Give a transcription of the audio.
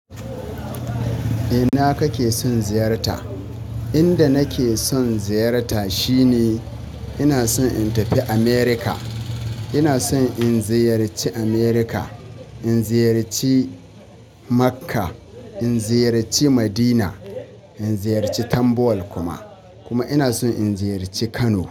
Ina kake son ziyarta? Inda nake son ziyarta shine ina son in tafi America. Ina son in ziyarci America, in ziyarci Makka, in ziyarci Madina, in ziyarci Tambuwal kuma. Kuma ina son in ziyarci Kano.